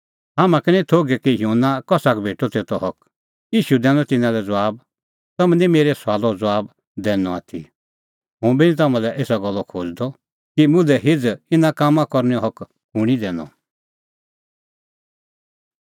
हाम्हां का निं थोघै कि युहन्ना कसा का भेटअ तेतो हक ईशू दैनअ तिन्नां लै ज़बाब तम्हैं निं मेरै सुआलो ज़बाब दैनअ आथी हुंबी निं तम्हां लै एसा गल्ला खोज़दअ कि मुल्है हिझ़ इना कामां करनैओ हक कुंणी दैनअ